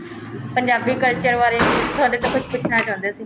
Punjabi culture ਬਾਰੇ ਤੁਹਾਡੇ ਤੋਂ ਕੁੱਛ ਪੁੱਛਣਾ ਚਾਹੁੰਦੇ ਸੀ